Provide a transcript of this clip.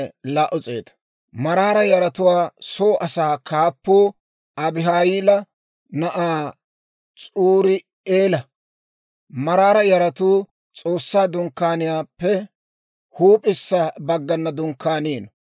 Maraara yaratuwaa soo asaa kaappuu Abihayila na'aa S'urii'eela. Maraara yaratuu S'oossaa Dunkkaaniyaappe huup'issa baggana dunkkaaniino.